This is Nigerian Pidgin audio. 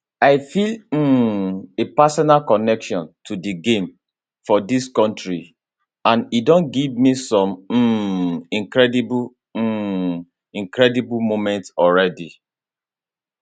i feel um a personal connection to di game for dis kontri and e don give me some um incredible um incredible moments already